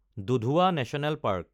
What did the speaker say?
Dudhwa national park